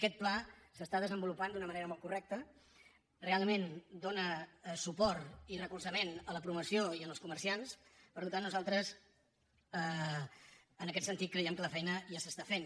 aquest pla s’està desenvolupant d’una manera molt correcta realment dóna suport i recolzament a la promoció i als comerciants per tant nosaltres en aquest sentit creiem que la feina ja s’està fent